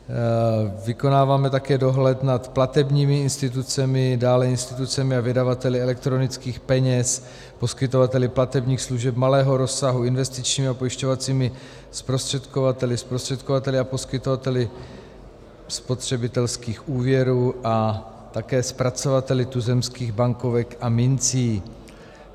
Vykonáváme také dohled nad platebními institucemi, dále institucemi a vydavateli elektronických peněz, poskytovateli platebních služeb malého rozsahu investičními a pojišťovacími zprostředkovateli, zprostředkovateli a poskytovateli spotřebitelských úvěrů a také zpracovateli tuzemských bankovek a mincí.